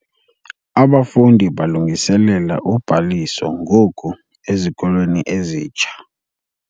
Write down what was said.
Abafundi balungiselela ubhaliso ngoku ezikolweni ezitsha.